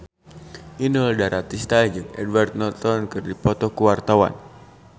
Inul Daratista jeung Edward Norton keur dipoto ku wartawan